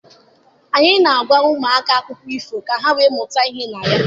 Anyị na-agwa ụmụaka akụkọ ifo ka ha wee mụta ihe na ya